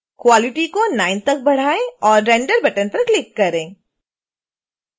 quality को 9 तक बढ़ाएं और render बटन पर क्लिक करें